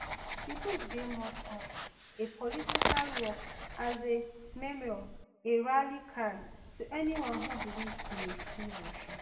di book dey much of a political work as a memoir a rally cry to anyone who believe in a free russia